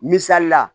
Misali la